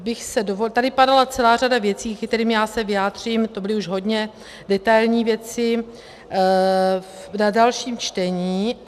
Tady padala celá řada věcí, ke kterým se vyjádřím, to byly už hodně detailní věci, na dalším čtení.